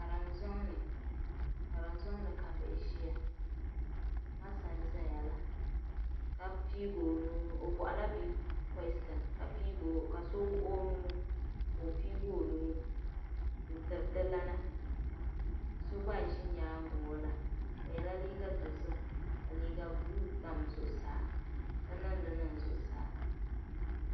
Kariŋ zɔŋni karim zɔŋni kabihi ʒiya masa n zayala ɔbɔhi la bii koishin ka so wuɣi ɔnuu, ka ɔ piigi ɔ nuu n-tiri dilana, so gba n ʒi nyaaŋa kɔla ɔ yela liiga dozim ka liiga blue tam zuɣu saa niŋli niŋ zuɣusaa.